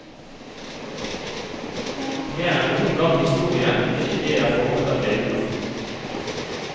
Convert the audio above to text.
Mer enn noen gang i historien blir idéer formet av bilder.